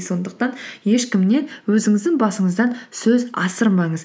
сондықтан ешкімнен өзіңіздің басыңыздан сөз асырмаңыз